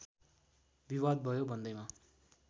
विवाद भयो भन्दैमा